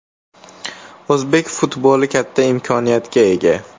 O‘zbek futboli katta imkoniyatga ega.